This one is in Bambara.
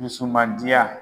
Dusumandiya